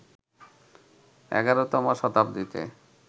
১১তম শতাব্দীতে